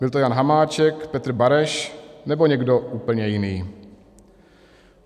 Byl to Jan Hamáček, Petr Bareš, nebo někdo úplně jiný?